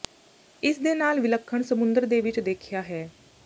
ਇਸ ਦੇ ਨਾਲ ਵਿਲੱਖਣ ਸਮੁੰਦਰ ਦੇ ਵਿੱਚ ਦੇਖਿਆ ਹੈ